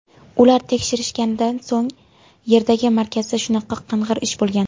Ular tekshirishganida o‘sha yerdagi markazda shunaqa qing‘ir ish bo‘lgan.